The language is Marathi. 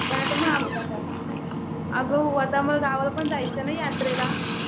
पण आता. अगं हो आता मला गावाला पण जायचंय ना यात्रेला.